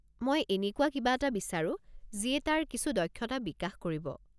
মই এনেকুৱা কিবা এটা বিচাৰো যিয়ে তাৰ কিছু দক্ষতা বিকাশ কৰিব।